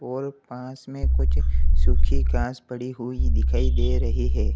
और पास में कुछ सूखी घास पड़ी हुई दिखाई दे रही है।